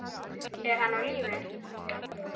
Er hann á lífi?